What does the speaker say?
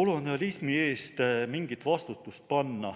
kolonialismi eest mingit vastutust panna.